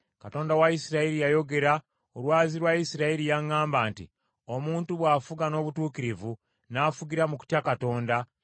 Katonda wa Isirayiri yayogera, olwazi lwa Isirayiri yaŋŋamba nti, ‘Omuntu bw’afuga n’obutuukirivu, n’afugira mu kutya Katonda,